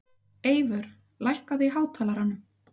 Eyvör, lækkaðu í hátalaranum.